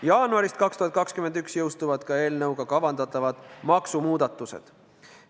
Jaanuaris 2021 jõustuvad ka eelnõuga kavandatavad maksumuudatused.